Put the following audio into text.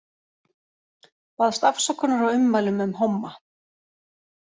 Baðst afsökunar á ummælum um homma